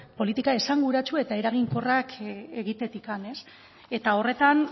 politika esanguratsu eta eraginkorrak egitetik horretan